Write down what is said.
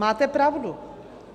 Máte pravdu.